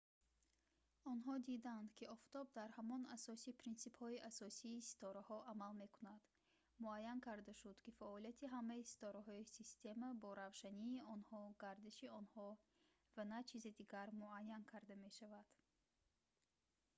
онҳо диданд ки офтоб дар ҳамон асоси принсипҳои асосии ситораҳо амал мекунад муайян карда шуд ки фаъолияти ҳамаи ситораҳои система бо равшании онҳо гардиши онҳо ва на чизи дигар муайян карда мешавад